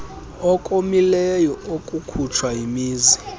okomileyo okukhutshwa yimizi